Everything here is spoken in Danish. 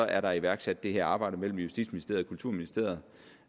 er der iværksat det her arbejde mellem justitsministeriet og kulturministeriet